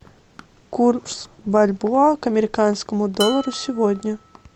курс бальбоа к американскому доллару сегодня